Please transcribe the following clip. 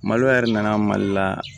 Malo yɛrɛ nana mali la